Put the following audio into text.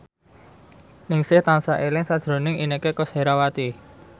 Ningsih tansah eling sakjroning Inneke Koesherawati